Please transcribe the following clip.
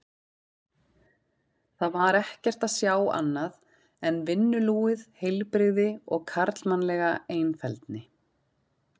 Þar var ekkert að sjá annað en vinnulúið heilbrigði og karlmannlega einfeldni.